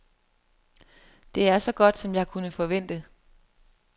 Det er så godt, som jeg kunne forvente.